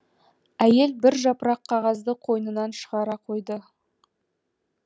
әйел бір жапырақ қағазды қойнынан шығара қойды